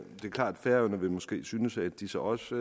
klart at færøerne måske vil synes at de så også